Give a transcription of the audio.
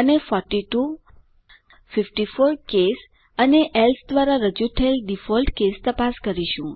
અને 42 54 કેસ અને એલ્સે દ્વારા રજુ થયેલ ડિફોલ્ટ કેસ તપાસ કરીશું